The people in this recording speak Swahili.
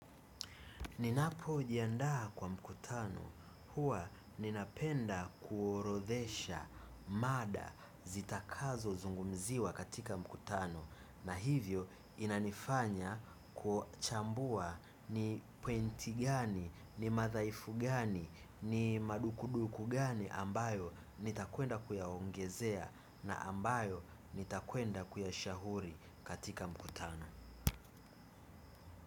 Ninapo jiandaa kwa mkutano huwa ninapenda kuorodhesha mada zitakazo zungumziwa katika mkutano na hivyo inanifanya kuchambua ni pwenti gani, ni madhaifu gani, ni madukuduku gani ambayo nitakwenda kuyaongezea na ambayo nitakwenda kuyashahuri katika mkutano.